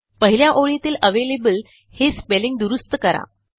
पहिल्या ओळीतीलavalable हे स्पेलिंग दुरूस्त करा